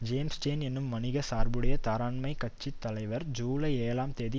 James Tien என்னும் வணிக சார்புடைய தாராண்மை கட்சி தலைவர் ஜூலை ஏழாம் தேதி